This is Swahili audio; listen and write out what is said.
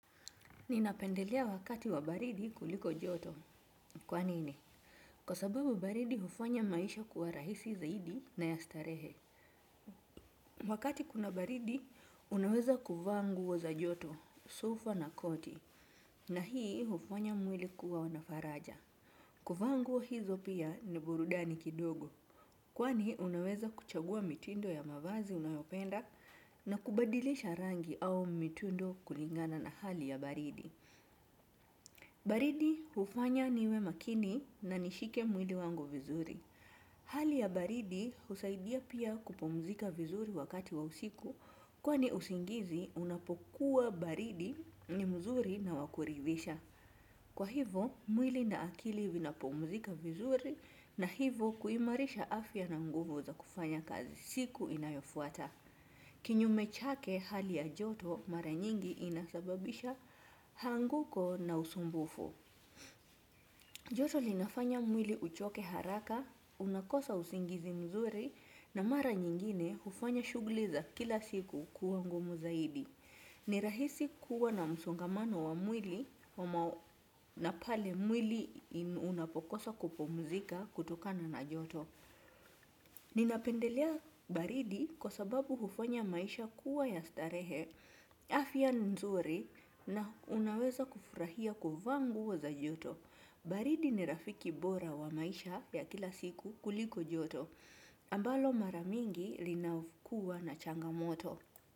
Ninapendelea wakati wa baridi kuliko joto. Kwa nini? Kwa sababu baridi hufanya maisha kuwa rahisi zaidi na ya starehe. Wakati kuna baridi, unaweza kuvaa nguo za joto, sweta na koti, na hii hufanya mwili kuwa na faraja. Kuvaa nguo hizo pia, ni burudani kidogo. Kwani, unaweza kuchagua mitindo ya mavazi unayopenda na kubadilisha rangi au mitindo kulingana na hali ya baridi. Baridi hufanya niwe makini na nishike mwili wangu vizuri. Hali ya baridi husaidia pia kupumzika vizuri wakati wa usiku, kwani usingizi unapokuwa baridi ni mzuri na wa kuridhisha. Kwa hivyo, mwili na akili vinapumzika vizuri, na hivyo kuimarisha afya na nguvu za kufanya kazi siku inayofuata. Kinyume chake, hali ya joto mara nyingi inasababisha anguko na usumbufu. Joto lifanya mwili kuchoka haraka, unakosa usingizi mzuri, na mara nyingine hufanya shughuli za kila siku kuwa ngumu zaidi. Ni rahisi kuwa na msongamano wa mwili pale mwili unapokosa kupumzika kutokana na joto. Ninapendelea baridi kwa sababu hufanya maisha kuwa ya starehe, afya nzuri, na unaweza kufurahia kuvaa nguo za joto. Baridi ni rafiki bora wa maisha ya kila siku kuliko joto, ambalo mara nyingi linakuwa na changamoto.